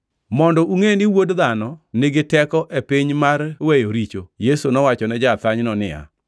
Mondo ungʼe ni Wuod Dhano nigi teko e piny mar weyo richo.” Yesu nowachone ja-athanyno niya,